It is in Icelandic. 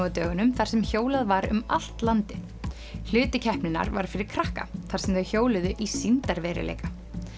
á dögunum þar sem hjólað var um allt landið hluti keppninnar var fyrir krakka þar sem þau hjóluðu í sýndarveruleika